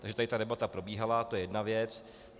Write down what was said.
Takže tady ta debata probíhala, to je jedna věc.